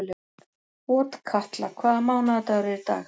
Otkatla, hvaða mánaðardagur er í dag?